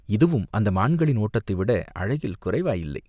இதுவும் அந்த மான்களின் ஓட்டத்தைவிட அழகில் குறைவாயில்லை!